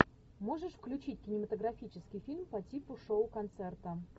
можешь включить кинематографический фильм по типу шоу концерта